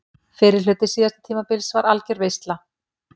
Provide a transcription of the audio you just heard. Fyrri hluti síðasta tímabils var algjör veisla.